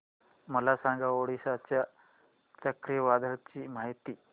मला सांगा ओडिशा च्या चक्रीवादळाची माहिती